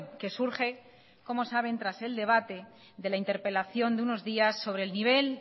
que surge como saben tras el debate de la interpelación de unos días sobre el nivel